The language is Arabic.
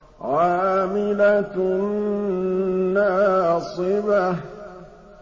عَامِلَةٌ نَّاصِبَةٌ